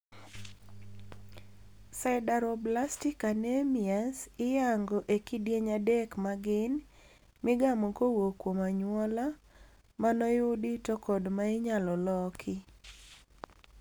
Sideroblastic anemias iyango ekidieny adek magin:migamo kowuok kuom anyuola, manoyudi to kod mainyalo loki.